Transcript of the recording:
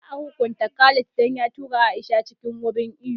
Za a hukunta Khalid dan ya tura Aisha cikin wurin iwo